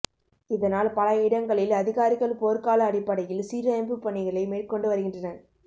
இதனால் பல இடங்களில் அதிகாரிகள் போர்க்கால அடிப்படையில் சீரமைப்பு பணிகளை மேற்கொண்டு வருகின்றனர்